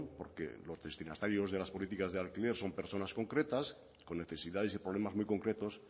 porque los destinatarios de las políticas de alquiler son personas concretas con necesidades y problemas muy concretos